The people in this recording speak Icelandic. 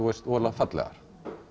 voðalega fallegar